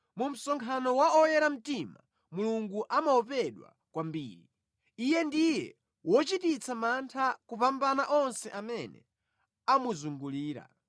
Mu msonkhano wa oyera mtima Mulungu amaopedwa kwambiri; Iye ndiye wochititsa mantha kupambana onse amene amuzungulira.